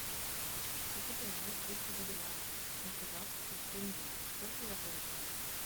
хочу поменять триста боливаров на казахский тенге сколько я получу